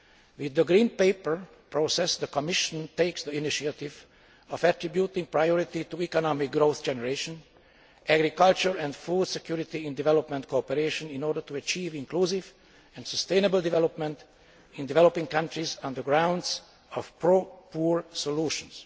With the Green Paper process, the Commission takes the initiative of attributing priority to economic growth generation, agriculture and food security in development cooperation in order to achieve inclusive and sustainable development in developing countries on the grounds of pro poor solutions.